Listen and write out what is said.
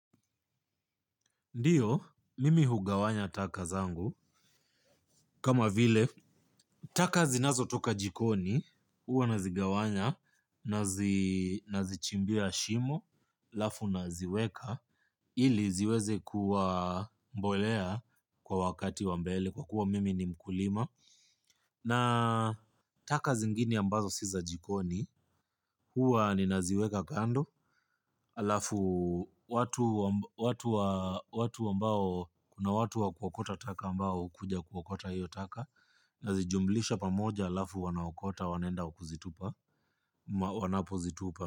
Ndiyo, mimi hugawanya taka zangu, kama vile, taka zinazotoka jikoni, huwa nazigawanya, nazichimbia shimo, halafu naziweka, ili ziweze kuwa mbolea kwa wakati wa mbele, kwa kuwa mimi ni mkulima. Na taka zingine ambazo si za jikoni, huwa ninaziweka kando, halafu watu ambao kuna watu wa kuokota taka ambao hukuja kuokota hiyo taka, nazijumlisha pamoja halafu wanaokota wanaenda kuzitupa, wanapozitupa.